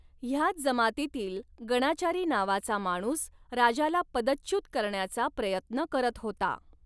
ह्याच जमातीतील गणाचारी नावाचा माणूस राजाला पदच्युत करण्याचा प्रयत्न करत होता.